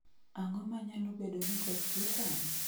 Ang�o ma nyalo bedo ni koth chwe sani?